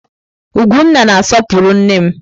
Ugwunna na-asọpụrụ nne m.